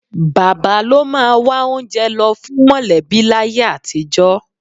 Bàbá ló máa wá oúnjẹ lọ fún mọ̀lẹ́bí láyé àtijọ́